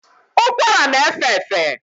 ụkwara na efefe